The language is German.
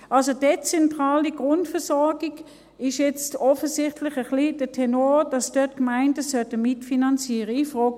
Also: Bei der dezentralen Grundversorgung ist jetzt der Tenor offensichtlich ein bisschen, dass die Gemeinden dort mitfinanzieren sollten.